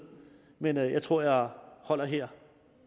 men jeg tror jeg holder her